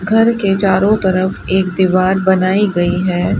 घर के चारों तरफ एक दीवार बनाई गई है।